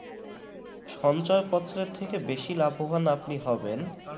সঞ্চয়পত্র থেকে বেশি লাভবান আপনি হবেন